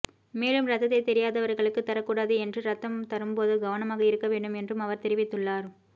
மேலும் ரத்தத்தை தெரியாதவர்களுக்கு தர கூடாது என்றும் ரத்தம் தரும்போது கவனமாக இருக்க வேண்டும் என்றும் அவர் தெரிவித்துள்ளார்